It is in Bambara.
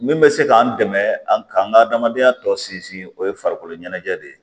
Min bɛ se k'an dɛmɛ an k'an ka adamadenya tɔ sinsin o ye farikolo ɲɛnajɛ de ye